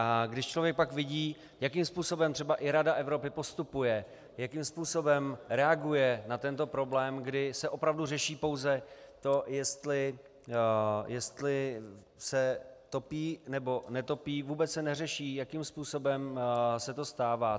A když člověk pak vidí, jakým způsobem třeba i Rada Evropy postupuje, jakým způsobem reaguje na tento problém, kdy se opravdu řeší pouze to, jestli se topí, nebo netopí, vůbec se neřeší, jakým způsobem se to stává.